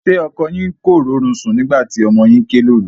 Ṣé ọkọ yín kò rórun sùn nígbà tí ọmọ yín ké lóru?